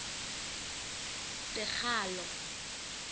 sekgalo